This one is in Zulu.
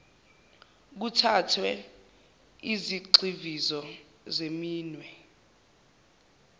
kuthathwe izigxivizo zeminwe